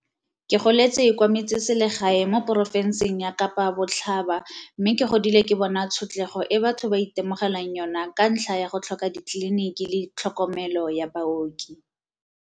Ke goletse kwa metsesele gae mo porofenseng ya Kapa Botlhaba mme ke godile ke bona tshotlego e batho ba itemogelang yona ka ntlha ya go tlhoka ditleliniki le tlhokomelo ya baoki.